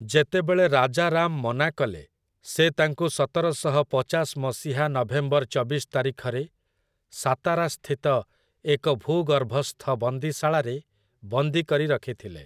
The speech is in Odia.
ଯେତେବେଳେ ରାଜାରାମ୍ ମନା କଲେ, ସେ ତାଙ୍କୁ ସତରଶହ ପଚାଶ ମସିହା ନଭେମ୍ବର ଚବିଶ ତାରିଖରେ ସାତାରାସ୍ଥିତ ଏକ ଭୂଗର୍ଭସ୍ଥ ବନ୍ଦୀଶାଳାରେ ବନ୍ଦୀ କରି ରଖିଥିଲେ ।